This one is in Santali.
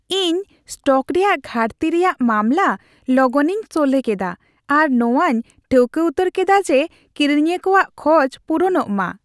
ᱤᱧ ᱥᱴᱚᱠ ᱨᱮᱭᱟᱜ ᱜᱷᱟᱹᱴᱛᱤ ᱨᱮᱭᱟᱜ ᱢᱟᱢᱞᱟ ᱞᱚᱜᱚᱱᱤᱧ ᱥᱚᱞᱦᱮ ᱠᱮᱫᱟ, ᱟᱨ ᱱᱚᱣᱟᱧ ᱴᱷᱟᱹᱣᱠᱟᱹ ᱩᱛᱟᱹᱨ ᱠᱮᱫᱟ ᱡᱮ ᱠᱤᱨᱤᱧᱤᱭᱟᱹ ᱠᱚᱣᱟᱜ ᱠᱷᱚᱡ ᱯᱩᱨᱩᱱᱚᱜ ᱢᱟ ᱾